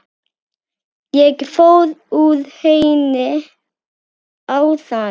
Ég fór úr henni áðan.